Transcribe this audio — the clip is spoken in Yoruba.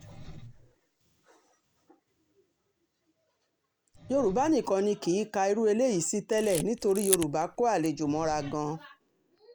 yorùbá nìkan ni kì í ka irú eléyìí sí tẹ́lẹ̀ nítorí yorùbá kó àlejò mọ́ra gan-an